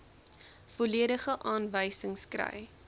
volledige aanwysings kry